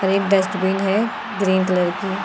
एक डस्टबिन है green colour की।